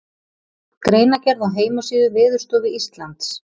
Greinargerð á heimasíðu Veðurstofu Íslands.